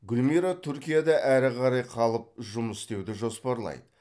гүлмира түркияда әрі қарай қалып жұмыс істеуді жоспарлайды